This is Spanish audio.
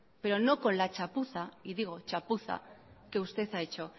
pero no con la chapuza y digo chapuza que usted ha hecho